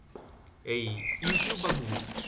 এই youtube বা google